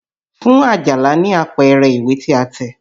Fún Àjàlá ní àpẹẹrẹ ìwé tí a tẹ̀!